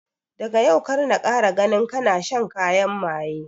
Daga yau kar na kara ganin kana shan kayan maye